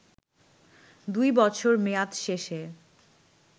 ২ বছর মেয়াদ শেষে